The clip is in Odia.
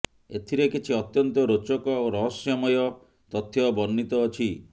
ଏଥିରେ କିଛି ଅତ୍ୟନ୍ତ ରୋଚକ ଓ ରହସ୍ୟମୟ ତଥ୍ୟ ବର୍ଣ୍ଣିତ ଅଛି